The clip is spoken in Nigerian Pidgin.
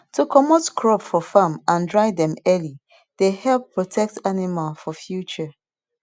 to comot crop for farm and dry dem early dey help protect animal for future